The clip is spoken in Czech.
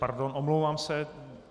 Pardon, omlouvám se.